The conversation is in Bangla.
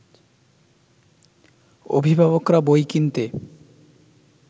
অভিভাবকরা বই কিনতে